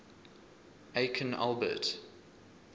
aikin albert